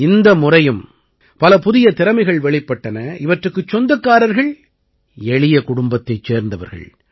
இந்த முறையும் பல புதிய திறமைகள் வெளிப்பட்டன இவற்றுக்குச் சொந்தக்காரர்கள் எளிய குடும்பத்தைச் சேர்ந்தவர்கள்